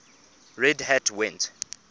red hat went